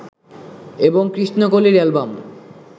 এবং কৃষ্ণকলির অ্যালবাম